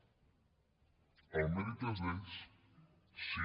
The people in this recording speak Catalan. el mèrit és d’ells sí